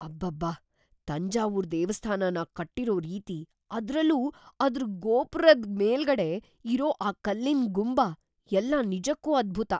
ಅಬ್ಬಬ್ಬಾ! ತಂಜಾವೂರ್ ದೇವಸ್ಥಾನನ ಕಟ್ಟಿರೋ ರೀತಿ, ಅದ್ರಲ್ಲೂ ಅದ್ರ್ ಗೋಪ್ರದ್ ಮೇಲ್ಗಡೆ ಇರೋ ಆ ಕಲ್ಲಿನ್‌ ಗುಂಬ ಎಲ್ಲ ನಿಜಕ್ಕೂ ಅದ್ಭುತ!